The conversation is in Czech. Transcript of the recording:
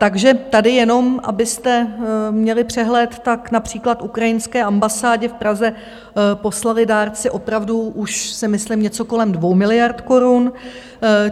Takže tady, jenom abyste měli přehled, tak například ukrajinské ambasádě v Praze poslali dárci opravdu už si myslím něco kolem 2 miliard korun.